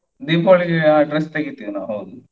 Deepavali ಗೆ dress ತೆಗಿತೇವೆ ನಾವು ಹೌದು.